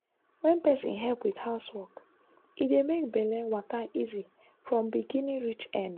wen person help with housework e dey make belle waka easy from beginning reach end.